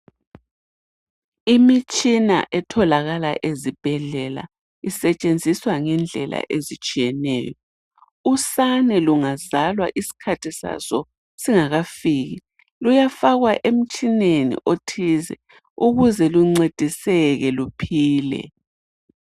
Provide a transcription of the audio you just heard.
Imitshina etholakala ezibhedlela isetshenziswa ngendlela ezitshiyeneyo. Usane lungazalwa isikhathi saso singakafika luyafakwa emtshineni othize ukuze luncediseke luphile.